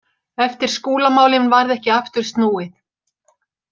Eftir Skúlamálin varð ekki aftur snúið.